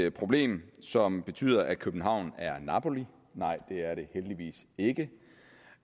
et problem som betyder at københavn er napoli nej det er det heldigvis ikke